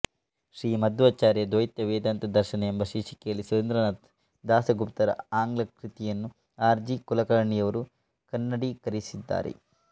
ಶ್ರೀಮಧ್ವಾಚಾರ್ಯರ ದ್ವೈತ ವೇದಾಂತ ದರ್ಶನ ಎಂಬ ಶೀರ್ಷಿಕೆಯಲ್ಲಿ ಸುರೇಂದ್ರನಾಥ್ ದಾಸಗುಪ್ತರ ಆಂಗ್ಲ ಕೃತಿಯನ್ನು ಆರ್ ಜಿ ಕುಲಕರ್ಣಿಯವರು ಕನ್ನಡೀಕರಿಸಿದ್ದಾರೆ